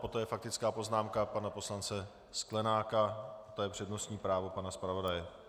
Poté faktická poznámka pana poslance Sklenáka, to je přednostní právo pana zpravodaje.